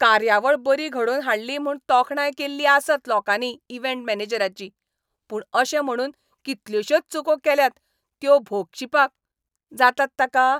कार्यावळ बरी घडोवन हाडली म्हूण तोखणाय केल्ली आसत लोकांनी इव्हँट मॅनेजराची, पूण अशें म्हुणून कितल्योशोच चुको केल्यात त्यो भोगशिपाक जातात ताका?